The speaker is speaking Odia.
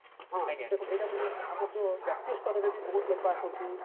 ହଁ ଏଇଟା ହୋଉଥିଲା ଆମର ଯୋଉ ଜାତୀୟ ସ୍ତରରେ ବି ବହୁତ ଲୋକ ଆସନ୍ତି